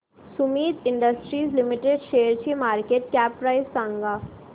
Sumeet industries limited शेअरची market cap price सांगा